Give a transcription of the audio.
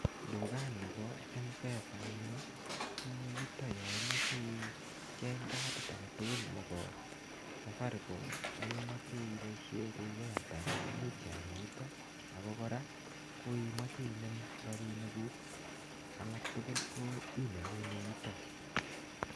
Dukani bo mpesa anyun ko yutok yo imoche icheng kadit agetugul nebo safaricom nekemoche iboisie ku [sc]airtime momuch iale yutok ago kora koimoche inemu, rapinikuk alak tugul koinemune yutok.